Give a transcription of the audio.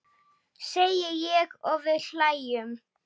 segi ég og við hlæjum.